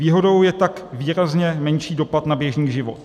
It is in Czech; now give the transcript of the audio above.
Výhodou je tak výrazně menší dopad na běžný život.